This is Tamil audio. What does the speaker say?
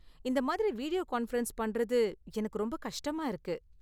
இந்த மாதிரி வீடியோ கான்பரன்ஸ் பண்றது எனக்கு ரொம்ப கஷ்டமா இருக்கு.